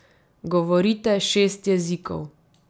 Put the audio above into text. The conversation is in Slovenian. Govorite šest jezikov.